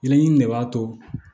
Yɛlɛɲini de b'a to